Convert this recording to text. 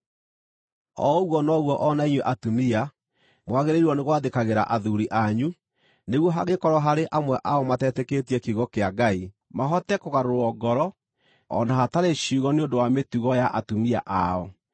O ũguo noguo o na inyuĩ atumia, mwagĩrĩirwo nĩ gwathĩkagĩra athuuri anyu, nĩguo hangĩkorwo harĩ amwe ao matetĩkĩtie kiugo kĩa Ngai, mahote kũgarũrwo ngoro o na hatarĩ ciugo nĩ ũndũ wa mĩtugo ya atumia ao,